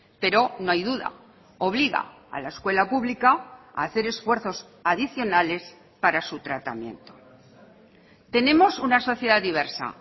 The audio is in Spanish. pero no hay duda obliga a la escuela pública a hacer esfuerzos adicionales para su tratamiento tenemos una sociedad diversa